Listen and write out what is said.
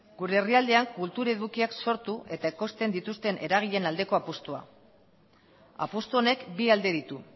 gure herrialdean kultur edukiak sortu eta ekoizten dituzten eragileen aldeko apustua apustu honek bi alde ditu